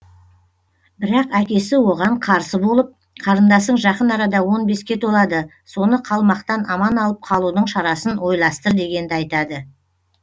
бірақ әкесі оған қарсы болып қарындасың жақын арада он беске толады соны қалмақтан аман алып қалудың шарасын ойластыр дегенді айтады